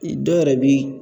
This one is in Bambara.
dɔw yɛrɛ bi